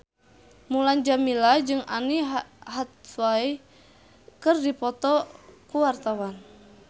Mulan Jameela jeung Anne Hathaway keur dipoto ku wartawan